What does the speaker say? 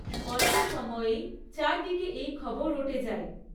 অল্প সময়েই চারদিকে এই খবর রটে যায়।